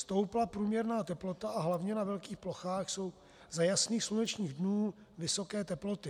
Stoupla průměrná teplota a hlavně na velkých plochách jsou za jasných slunečných dnů vysoké teploty.